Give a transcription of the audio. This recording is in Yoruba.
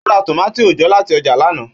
Ó ra tomati òòjọ́ láti ọjà lana.